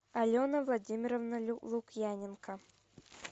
алена владимировна лукьяненко